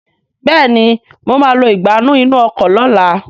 Béèni mọ má lọ Ìgbánú inú ọkọ̀ lọ̀la